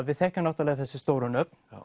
við þekkjum náttúrulega þessi stóru nöfn